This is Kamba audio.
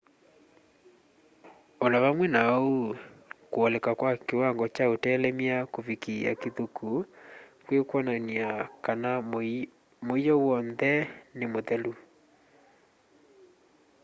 o na vamwe na ũu kwoleka kwa kĩwango kya ũtelemya kũvikĩa kĩthũku kwĩkwonanya kana mũiyo w'onthe nĩ muthelu